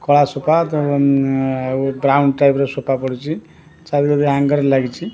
କଳା ସୂତା ତଙ୍ଗ ଅଁ ଆଉ ବ୍ରାଉନ ଟାଇପ୍ ର ସୂତା ପଡ଼ିଚି ଚାବି ରାଙ୍ଗ ଲାଗିଚି।